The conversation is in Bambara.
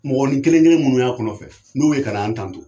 Mɔgɔnin kelen kelen min ya kɔnɔfɛ n'u be ka na an tanto